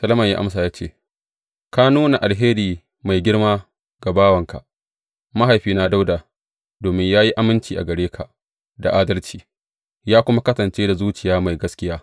Solomon ya amsa ya ce, Ka nuna alheri mai girma ga bawanka, mahaifina Dawuda domin ya yi aminci gare ka da adalci, ya kuma kasance da zuciya mai gaskiya.